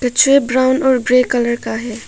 जो ब्राऊन और grey colour का है।